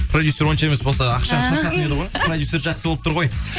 продюсер оншама емес болса ақшаны шашатын еді ғой продюсер жақсы болып тұр ғой